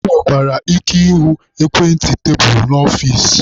E nwekwara ike ịhụ ekwentị tebulu n'ọfici.